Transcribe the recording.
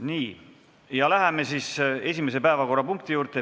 Nii, läheme esimese päevakorrapunkti juurde.